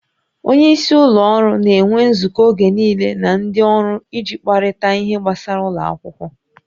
Onye isi ụlọ ọrụ na-enwe nzukọ oge niile na ndị ọrụ iji kparịta ihe gbasara ụlọ akwụkwọ